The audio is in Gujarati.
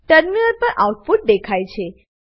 ટર્મિનલ પર આઉટપુટ દેખાય છે